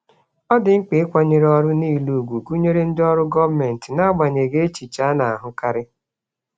Ọ dị mkpa ịkwanyere ọrụ niile ùgwù, gụnyere ndị ọrụ gọọmentị, n'agbanyeghị echiche a na-ahụkarị.